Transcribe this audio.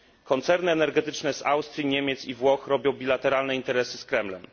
Koncerny energetyczne z Austrii, Niemiec i Włoch robią bilateralne interesy z Kremlem.